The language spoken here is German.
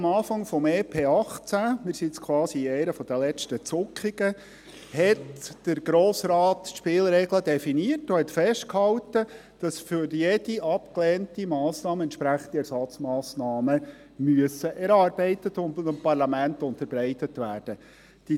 Zu Beginn des EP 2018 – wir sind jetzt quasi in einer der letzten Zuckungen – definierte der Grosse Rat die Spielregeln und hielt fest, dass für jede abgelehnte Massnahme entsprechende Ersatzmassnahmen erarbeitet und dem Parlament unterbreitet werden müssen.